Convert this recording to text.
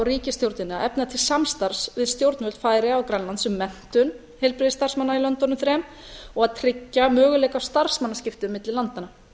ríkisstjórnina að efna til samstarfs við stjórnvöld færeyja og grænlands um menntun heilbrigðisstarfsmanna í löndunum þremur og að tryggja möguleika starfsmannaskipta milli landanna